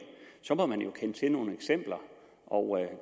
så må man jo kende til nogle eksempler og jeg